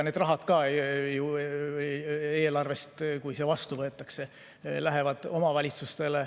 Need rahad eelarvest, kui see seadus vastu võetaks, lähevad omavalitsustele.